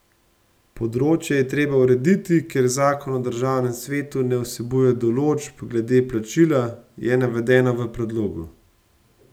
Področje je treba urediti, ker zakon o državnem svetu ne vsebuje določb glede plačila, je navedeno v predlogu.